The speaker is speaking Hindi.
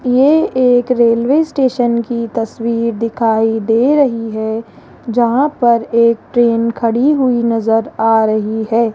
ये एक रेलवे स्टेशन की तस्वीर दिखाई दे रही है जहां पर एक ट्रेन खड़ी हुई नजर आ रही है।